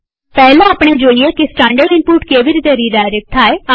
પહેલા આપણે જોઈએ કે સ્ટાનડર્ડ ઈનપુટ કેવી રીતે રીડાયરેક્ટ થાય